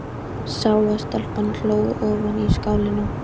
Sá að stelpan hló ofan í skálinni.